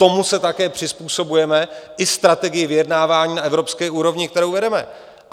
Tomu se také přizpůsobujeme, i strategii vyjednávání na evropské úrovni, kterou vedeme.